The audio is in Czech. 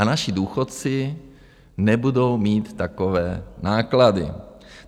A naši důchodci nebudou mít takové náklady.